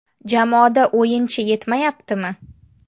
Jamoada o‘yinchi yetmayaptimi?